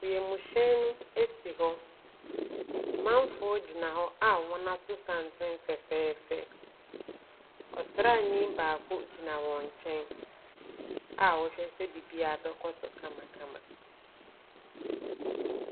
Wiemhyɛn no si hɔ. Amanfoɔ gyina hɔ a wɔato santene fɛfɛɛfɛ. Ɔsraani baako gyina wɔn nkyɛn a ɔrehwɛ sɛ biribiara bɛkɔ so kamakama.